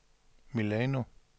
Milano